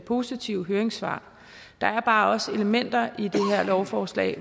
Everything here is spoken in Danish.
positive høringssvar der er bare også elementer i det her lovforslag